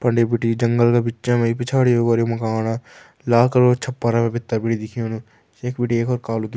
फंडे बिटि जंगल का बिचा मा पिछाड़ी अगाड़ी मकान लाखड़ो छपर भीतर बिटि दिखेणु यख बिटि एक और कालू --